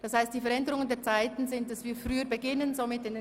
Insgesamt werden die Mittagspausen kürzer, und wir beginnen früher.